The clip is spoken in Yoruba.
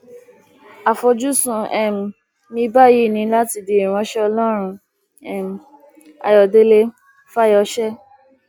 àfojúsùn um mi báyìí ni láti di ìránṣẹ ọlọrun um ayọdẹlẹ fáyọsé